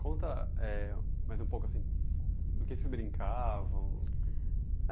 Conta.... é, mas um pouco assim... No que vocês brincavam?